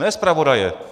Ne zpravodaje!